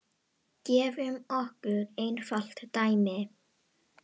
Gefum okkur einfalt dæmi.